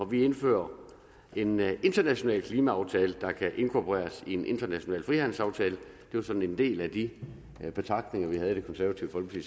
vil indføre en international klimaaftale der kan inkorporeres i en international frihandelsaftale det var sådan en del af de betragtninger vi havde i det konservative folkeparti